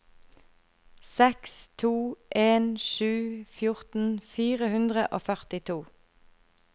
seks to en sju fjorten fire hundre og førtito